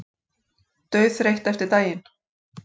Dauðþreytt eftir daginn.